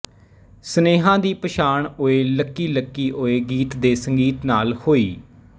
ਸਨੇਹਾ ਦੀ ਪਛਾਣ ਓਏ ਲੱਕੀ ਲੱਕੀ ਓਏ ਗੀਤ ਦੇ ਸੰਗੀਤ ਨਾਲ ਹੋਈ